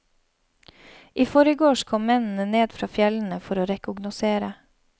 I forgårs kom mennene ned fra fjellene for å rekognosere.